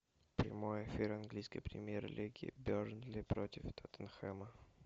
прямой эфир английской премьер лиги бернли против тоттенхэма